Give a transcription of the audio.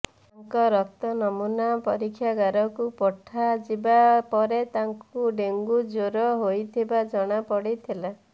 ତାଙ୍କ ରକ୍ତ ନମୁନା ପରୀକ୍ଷାଗାରକୁ ପଠାଯିବା ପରେ ତାଙ୍କୁ ଡେଙ୍ଗୁ ଜ୍ୱର ହୋଇଥିବା ଜଣାପଡ଼ିଥିଲା